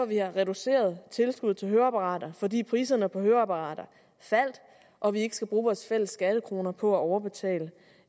vi har reduceret tilskuddet til høreapparater fordi priserne på høreapparater faldt og vi ikke skal bruge vores fælles skattekroner på at overbetale